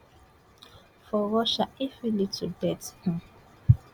for russia e fit lead to death um